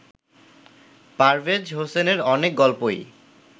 পারভেজ হোসেনের অনেক গল্পই